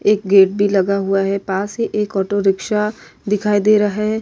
एक गेट भी लगा हुआ है पास ही एक ऑटो रिक्शा दिखाई दे रहा है।